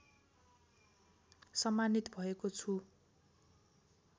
सम्मानित भएको छु